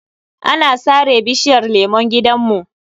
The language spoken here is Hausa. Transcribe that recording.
An sare bishiyar lemun gidanmu.